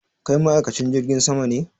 Kai ma'aikacin jirgin sama ne?